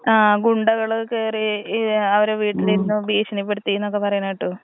ആ ഗുണ്ടകള് കേറി ഏ അവരെ വീട്ടിലിരുന്നു ഭീഷണിപ്പെടുത്തി എന്നൊക്കെ പറയണ കേട്ടു.